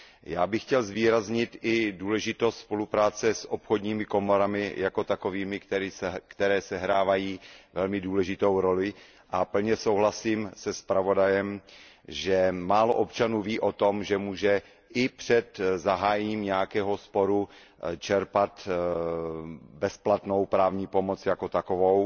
Já bych chtěl zdůraznit i důležitost spolupráce s obchodními komorami jako takovými, které sehrávají velmi důležitou roli, a plně souhlasím se zpravodajem, že málo občanů ví o tom, že může i před zahájením nějakého sporu čerpat bezplatnou právní pomoc jako takovou